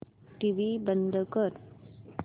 TV बंद कर